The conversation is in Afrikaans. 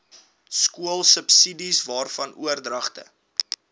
skoolsubsidies waarvan oordragte